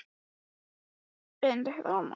Það bregst örugglega ekki, vertu viss.